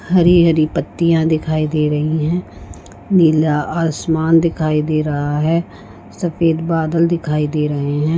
हरी हरी पत्तियां दिखाई दे रही है नीला आसमान दिखाई दे रहा है सफ़ेद बादल दिखाई दे रहे हैं।